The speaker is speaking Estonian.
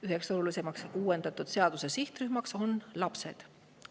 Üks olulisemaid sihtrühmi uuendatud seaduses on lapsed.